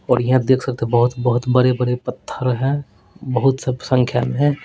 और यहाँ देख सकते हैं बहोत-बहोत बड़े-बड़े पत्थर हैं बहोत सब संख्या में है।